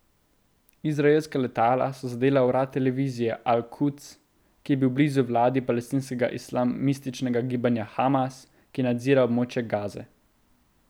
Izraelska letala so zadela urad televizije Al Kuds, ki je blizu vladi palestinskega islamističnega gibanja Hamas, ki nadzira območje Gaze.